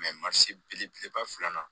belebeleba filanan